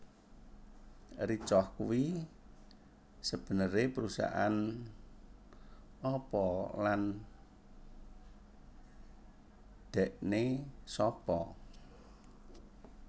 Ricoh kuwi sebenere perusahaan apa lan dhekne sapa